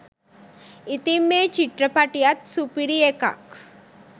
ඉතින් මේ චිත්‍රපටියත් සුපිරි එකක්